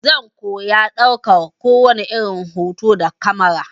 Zan koya ɗaukar kowani irin hoto da kamara.